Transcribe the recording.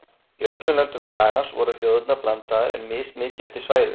Í öllum löndum skagans voru þjóðirnar blandaðar en mismikið eftir svæðum.